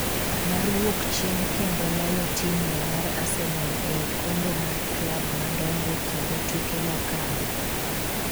mar wuok chien kendo loyo timno mar Arsenal e okombe mag klab madongo kinde tuke mokadho